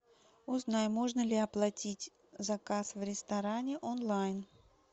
узнай можно ли оплатить заказ в ресторане онлайн